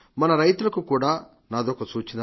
మన రైతులకు కూడా నాదొక సూచన